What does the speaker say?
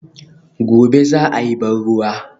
Gobe ​​za a yi ban ruwa